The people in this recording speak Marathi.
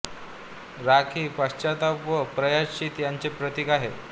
राख ही पश्चाताप व प्रायश्चित याचे प्रतिक आहे